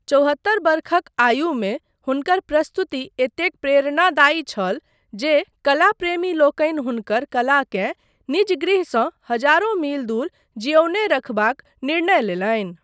चौहत्तर वर्षक आयुमे हुनकर प्रस्तुति एतेक प्रेरणादायी छल जे कला प्रेमीलोकनि हुनकर कलाकेँ निज गृहसँ हजारो मील दूर जियौने रखबाक निर्णय लेलनि।